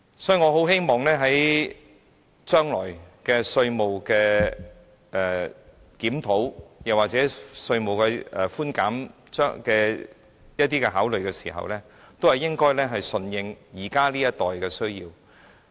所以，我很希望將來對稅務作出檢討或在考慮稅務寬減時，應該順應現時這一代的需要。